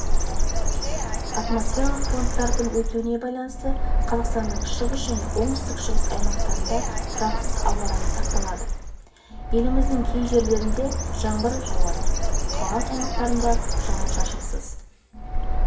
атмосфералық фронттардың өтуіне байланысты қазақстанның шығыс және оңтүстік-шығыс аймақтарында тұрақсыз ауа райы сақталады еліміздің кей жерлерінде жаңбыр жауады калған аймақтарында жауын-шашынсыз